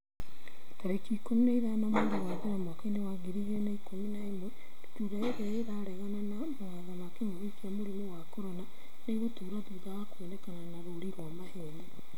tarĩki ikũmi na ithano mweri wa mbere mwaka wa ngiri igĩrĩ na ikũmi na ĩmwe Ndutura irĩa 'ĩraregana na mawatho ma kĩngũki kia mũrimũ wa CORONA nĩ ĩgũtũra thutha wa kuonekana na rũũri rwa maheeni.